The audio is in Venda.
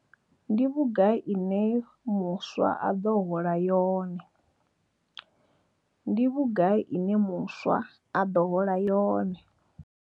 Ndi vhugai ine muswa a ḓo hola yone. Ndi vhugai ine muswa a ḓo hola yone.